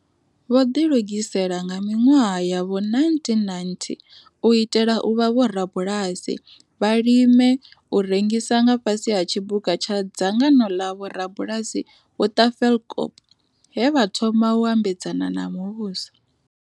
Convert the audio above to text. Vho ḓilugisela nga miṅwaha ya vho1990 u itela u vha vho rabulasi vha limelaho u rengisa nga fhasi ha tshiphuga tsha Dzangano ḽa Vho rabulasi vha Tafelkop he vha thoma u ambedzana na muvhuso.